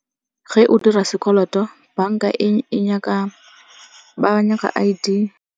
Ge o dira sekoloto banka ba nyaka I_D.